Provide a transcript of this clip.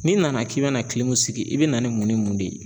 N'i nana k'i be na , i be na ni mun ni mun de ye?